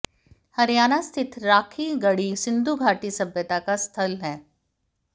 हरियाणा स्थित राखीगढ़ी सिंधु घाटी सभ्यता का स्थल है